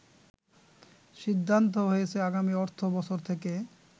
সিদ্ধান্ত হয়েছে আগামী অর্থ বছর থেকে